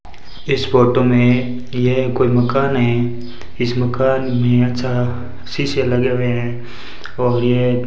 इस फोटो में यह कोई मकान है इस मकान में अच्छा शीशे लगे हुए हैं और यह --